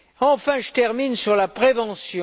Enfin, je termine sur la prévention.